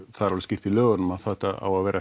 það er alveg skýrt í lögunum að þetta á að vera